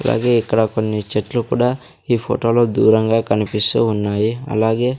అలాగే ఇక్కడ కొన్ని చెట్లు కూడా ఈ ఫోటోలో దూరంగా కనిపిస్తూ ఉన్నాయి అలాగే--